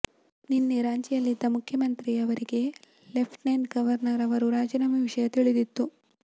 ನಿನ್ನೆ ರಾಂಚಿಯಲ್ಲಿದ್ದ ಮುಖ್ಯಮಂತ್ರಿಯವರಿಗೆ ಲೆಫ್ಟಿನೆಂಟ್ ಗವರ್ನರ್ ಅವರ ರಾಜೀನಾಮೆ ವಿಷಯ ತಿಳಿದಿತ್ತು